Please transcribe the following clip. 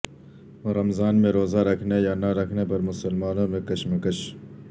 رمضان میں روزہ رکھنے یا نہ رکھنے پر مسلمانوں میں کشمکش